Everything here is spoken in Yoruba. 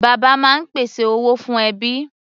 Bàbá máa ń pèsè owó fún ẹbí.